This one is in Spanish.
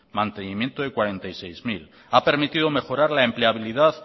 ha permitido mejorar la empleabilidad